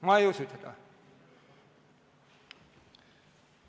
Ma ei usu seda.